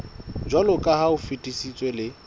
jwaloka ha o fetisitswe le